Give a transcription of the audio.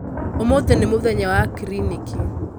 ũmũthĩ nĩ mũthenya wa kiriniki